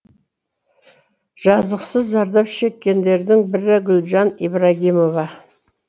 жазықсыз зардап шеккендердің бірі гүлжан ибрагимова